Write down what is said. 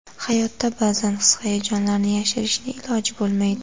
Hayotda ba’zan his-hayajonlarni yashirishni iloji bo‘lmaydi.